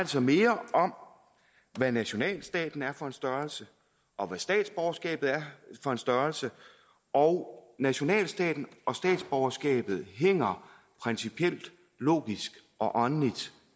sig mere om hvad nationalstaten er for en størrelse og hvad statsborgerskabet er for en størrelse og nationalstaten og statsborgerskabet hænger principielt logisk og åndeligt